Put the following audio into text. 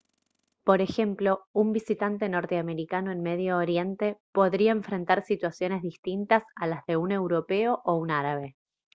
por ejemplo un visitante norteamericano en medio oriente podría enfrentar situaciones distintas a las de un europeo o un árabe